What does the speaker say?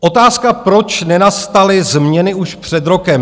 Otázka, proč nenastaly změny už před rokem?